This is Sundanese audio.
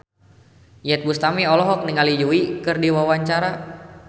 Iyeth Bustami olohok ningali Yui keur diwawancara